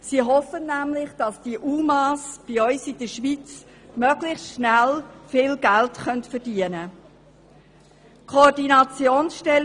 Sie hoffen nämlich, dass diese Unbegleiteten Minderjährigen Asylsuchenden (UMA) bei uns in der Schweiz möglichst schnell viel Geld verdienen können.